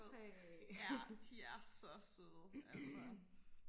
ja de er så søde altså